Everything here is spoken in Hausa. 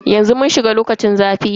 Yanzu mun shiga lokacin zafi ne.